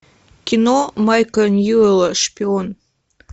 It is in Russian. кино майка ньюэлла шпион